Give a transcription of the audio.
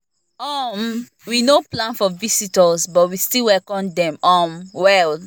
um we no plan for visitors but we still welcome dem um well